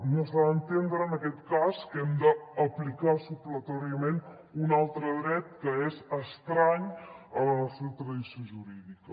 no s’ha d’entendre en aquest cas que hem d’aplicar supletòriament un altre dret que és estrany a la nostra tradició jurídica